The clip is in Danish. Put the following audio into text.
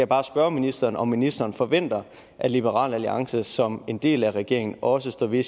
bare spørge ministeren om ministeren forventer at liberal alliance som en del af regeringen også står ved